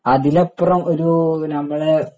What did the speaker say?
അതിലപ്പുറം ഒരു നമ്മളെ